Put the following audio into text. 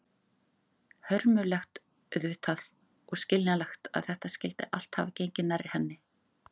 Hörmulegt auðvitað, og skiljanlegt að þetta skyldi allt hafa gengið nærri henni.